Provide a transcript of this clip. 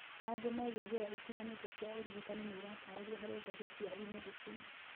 Mangĩ megiĩ njĩra itiganĩte cia ũrigitani nĩiratarĩrio harĩ ngathĩti ya eMedicine